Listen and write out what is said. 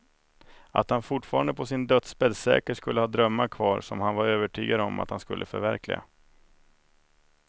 Att han fortfarande på sin dödsbädd säkert skulle ha drömmar kvar som han var övertygad om att han skulle förverkliga.